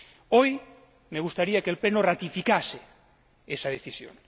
Hoy me gustaría que el Pleno ratificase esa decisión.